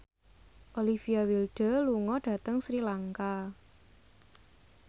Olivia Wilde lunga dhateng Sri Lanka